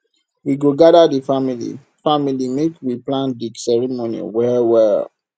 we go gather di family family make we plan di ceremony wellwell